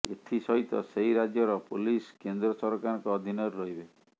ଏଥି ସହିତ ସେହି ରାଜ୍ୟର ପୋଲିସ କେନ୍ଦ୍ର ସରକାରଙ୍କ ଅଧୀନରେ ରହିବେ